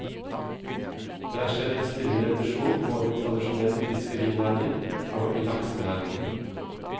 Det er skjedd en stille revolusjon både i tradisjonell fiskerinæring og i laksenæringen.